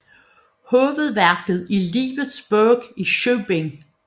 Hovedværket er Livets Bog i syv bind